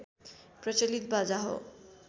प्रचलित बाजा हो